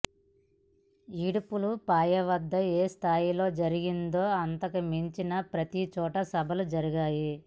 ఇడుపులపాయ వద్ద ఏ స్థాయిలో జరిగిందో అంతకుమించి ప్రతిచోటా సభలు జరిగాయి